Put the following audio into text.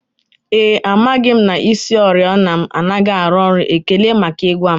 Ee e, amaghị m na isioriọna m anaghị arụ ọrụ, ekele maka ịgwa m